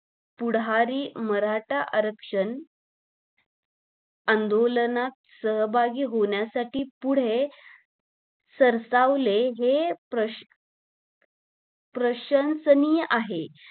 पुढारी मराठा आरंक्षण आंदोलनात सहभागी होण्यासाठी पुढे सरसावले हे प्रश्न प्रशंसनीय आहे